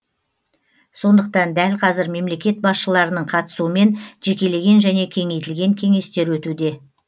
сондықтан дәл қазір мемлекет басшыларының қатысуымен жекелеген және кеңейтілген кеңестер өтуде